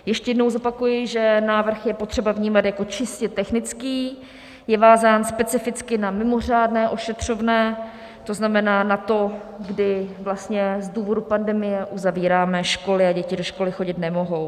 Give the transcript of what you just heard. Ještě jednou zopakuji, že návrh je potřeba vnímat jako čistě technický, je vázán specificky na mimořádné ošetřovné, to znamená na to, kdy vlastně z důvodu pandemie uzavíráme školy a děti do školy chodit nemohou.